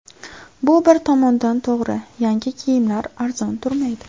Bu bir tomondan to‘g‘ri, yangi kiyimlar arzon turmaydi.